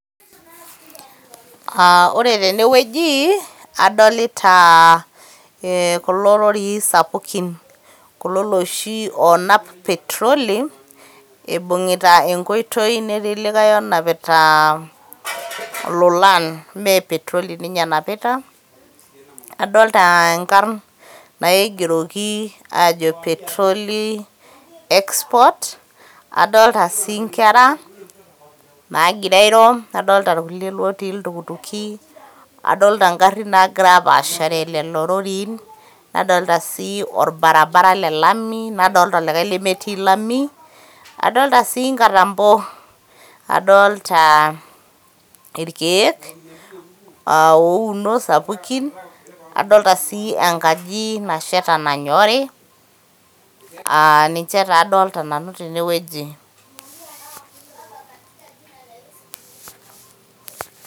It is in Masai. Aa yielo tene wueji adolita kulo rorii sapuki kulo loshi loonap petoroli eibung'ita enkoito netii likae onapita ilolan petoroli ninye enapita, edolita Inkarr naigeroki aajo petrol export adoolta sii Nkera naagira iro, nadalta olkulie lotii iltukutuki adolita egarrin naagira apaashare Nena rorii, nadoolta sii orbaribara le Lami, nadolita sii likae lemetii Lami adolita sii Engatampo, adolita irkiek ouno sapuki, adolita sii engaji nasheta nanyorri, aa ninche taa adolita Nanu tene weuji.